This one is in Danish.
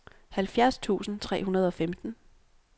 halvfjerds tusind tre hundrede og femten